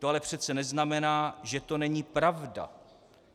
To ale přece neznamená, že to není pravda.